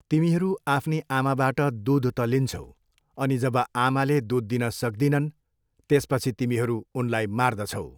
तिमीहरू आफ्नी आमाबाट दुध त लिन्छौ अनि जब आमाले दुध दिन सक्दिनन्, त्यसपछि तिमीहरू उनलाई मार्दछौ।